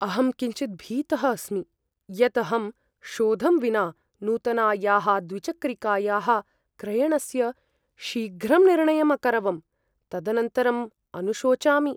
अहं किञ्चिद् भीतः अस्मि यत् अहं शोधं विना नूतनायाः द्विचक्रिकायाः क्रयणस्य शीघ्रं निर्णयम् अकरवम्। तदनन्तरम् अनुशोचामि।